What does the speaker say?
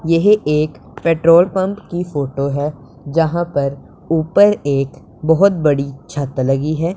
यह एक petrol pump की फोटो है जहां पर ऊपर एक बहोत बड़ी छत लगी हैं।